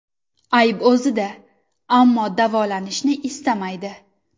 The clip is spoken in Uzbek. Ayb o‘zida, ammo davolanishni istamaydi.